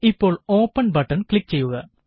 ഇപ്പോള് open button click ചെയ്യുക